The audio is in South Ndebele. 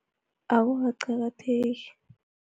Akukaqakatheki.